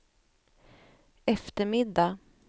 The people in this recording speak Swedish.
eftermiddag